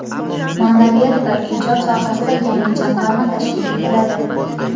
Ma’naviyat va ijod sohasida yangi jamg‘arma tashkil etiladi.